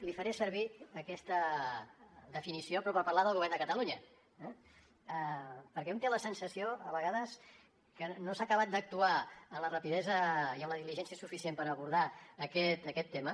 li faré servir aquesta definició però per parlar del govern de catalunya eh perquè un té la sensació a vegades que no s’ha acabat d’actuar amb la rapidesa i amb la diligència suficient per abordar aquest tema